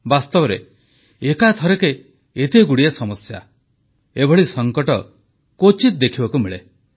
ବାସ୍ତବରେ ଏକାଥରକେ ଏତେ ଗୁଡ଼ିଏ ସମସ୍ୟା ଏଭଳି ସଂକଟ କ୍ୱଚିତ ଦେଖିବାକୁ ମିଳେ